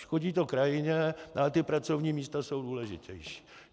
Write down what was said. Škodí to krajině, ale ta pracovní místa jsou důležitější.